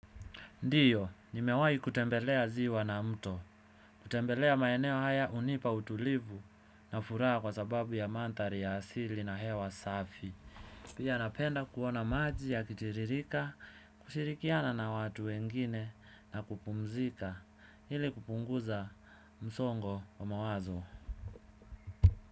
Ndio, nimewahi kutembelea ziwa na mto. Kutembelea maeneo haya hunipa utulivu na furaha kwa sababu ya mandhari ya asili na hewa safi pia napenda kuona maji yakitiririka, kushirikiana na watu wengine na kupumzika ili kupunguza msongo wa mawazo.